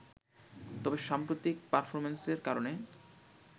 তবে সাম্প্রতিক পারফর্মেন্সের কারণে